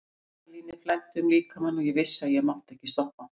Adrenalínið flæddi um líkamann og ég vissi að ég mátti ekki stoppa.